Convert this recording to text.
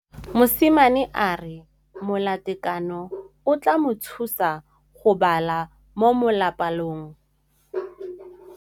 Mosimane a re molatekanyô o tla mo thusa go bala mo molapalong.